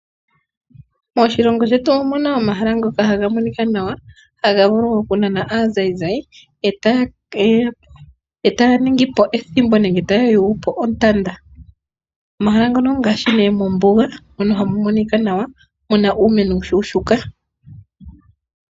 Moshilongo shetu omahala ngoka haga monika nawa haga vulu wo okunana aatalelipo etaya ningi po ethimbo nenge taya yungu po ontanda. Omahala ngono ongaashi nee mombuga mono hamu monika nawa muna uumeno uushuushuka.